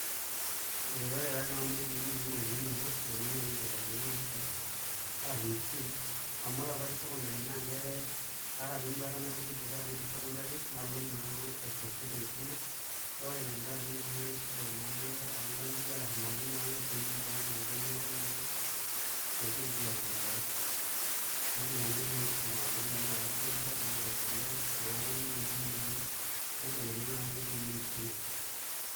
Ee ore taa tene netii engolikinoto naa ninye nayeuo aibelekeny [csmaisha arashu enkishui amu ore apa atii secondary naata apa enduata nalotie dukuya tenaidip secondary nalo naa aiproceed enkisuma kake ore naa tengaraki na shidai ongang'itie arashu imali naa piimin toonkang'itie neeeku naa itu naa aigil aiendelea nedung'okino naa enkisuma aak ine wueji ake atabaikia nitu aiendelea neeku ninye naa naibelekenya naa olotei lenkishui aai.